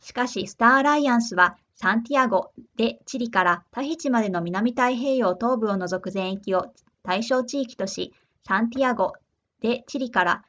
しかしスターアライアンスはサンティアゴデチリからタヒチまでの南太平洋東部を除く全域を対象地域としサンティアゴデチリから